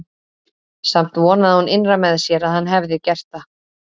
Samt vonaði hún innra með sér að hann hefði gert það.